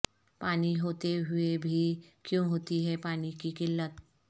پانی ہوتے ہوئے بھی کیوں ہوتی ہے پانی کی قلت